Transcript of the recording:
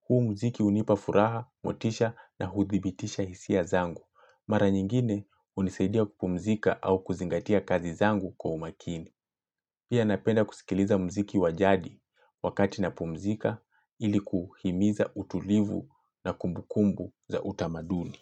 Huy mziki hunipafuraha, motisha na huthibitisha hisia zangu. Mara nyingine hunisaidia kupumzika au kuzingatia kazi zangu kwa umakini. Pia napenda kusikiliza mziki wajadi wakati napumzika ili kuhimiza utulivu na kumbukumbu za utamaduni.